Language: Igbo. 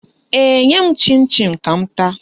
Ee, nye m chịn chịn ka m taa